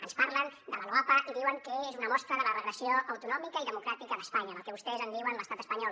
ens parlen de la loapa i diuen que és una mostra de la regressió autonòmica i democràtica d’espanya del que vostès en diuen l’estat espanyol